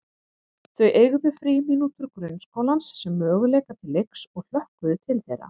Þau eygðu frímínútur grunnskólans sem möguleika til leiks og hlökkuðu til þeirra.